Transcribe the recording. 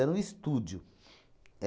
Era um estúdio.